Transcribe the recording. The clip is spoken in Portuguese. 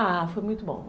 Ah, foi muito bom.